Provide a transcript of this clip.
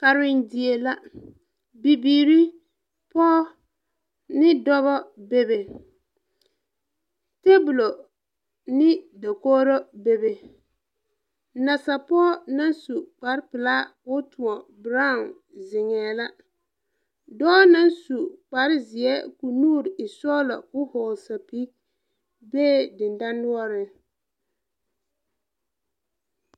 Karendie la bibiire, pooba ne dɔbɔ bebe tebulo ne dakogro bebe nasapoo naŋ su kparepilaa koo tõɔ brown zeŋɛɛ la dɔɔ naŋ su kpare zeɛ koo nuure e sɔglɔ koo hɔɔle sɛpige bee dendanoɔriŋ.